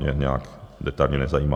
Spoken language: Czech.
Mě nějak detailně nezajímá.